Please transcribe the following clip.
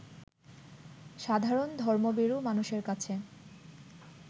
সাধারণ ধর্মভীরু মানুষের কাছে